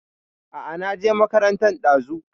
A a, na je makarantan ɗazu.